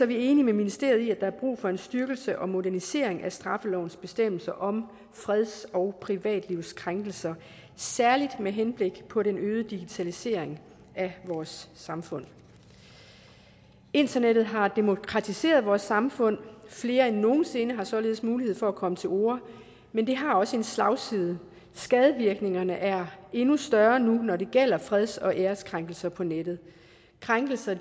vi enige med ministeriet er brug for en styrkelse og modernisering af straffelovens bestemmelser om freds og privatlivskrænkelser særlig med henblik på den øgede digitalisering af vores samfund internettet har demokratiseret vores samfund flere end nogen sinde før har således mulighed for at komme til orde men det har også en slagside skadevirkningerne er endnu større nu når det gælder freds og ærekrænkelser på nettet krænkelser